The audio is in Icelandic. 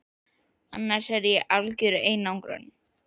annars er ég í algjörri einangrun.